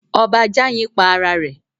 Ọba Jàyin pa ara rẹ̀